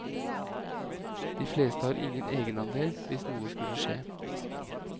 De fleste har ingen egenandel hvis noe skulle skje.